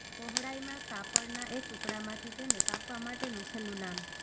પહોળાઈમાં કાપડનાં એક ટુકડામાંથી તેને કાપવા માટેનું છેલ્લું નામ